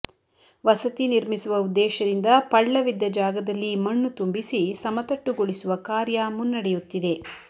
ವಸತಿ ನಿರ್ಮಿಸುವ ಉದ್ದೇಶದಿಂದ ಪಳ್ಳವಿದ್ದ ಜಾಗದಲ್ಲಿ ಮಣ್ಣು ತುಂಬಿಸಿ ಸಮತಟ್ಟು ಗೊಳಿಸುವ ಕಾರ್ಯ ಮುನ್ನಡೆಯುತ್ತಿದೆ